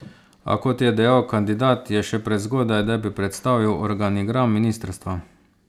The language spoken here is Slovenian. A, kot je dejal kandidat, je še prezgodaj, da bi predstavil organigram ministrstva.